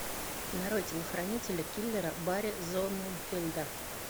нарой телохранителя киллера барри зонненфельда